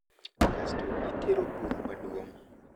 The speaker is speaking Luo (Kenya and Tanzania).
Kasto itero buru maduong.